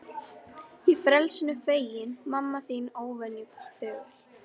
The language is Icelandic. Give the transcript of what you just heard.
Ég frelsinu feginn, mamma þín óvenju þögul.